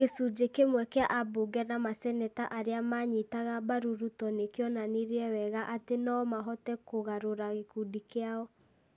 gĩcunjĩ kĩmwe kĩa ambunge na maseneta arĩa manyitaga mbaru Ruto nĩ kĩonanirie wega atĩ no mahote kũgarũra gĩkundi kĩao ,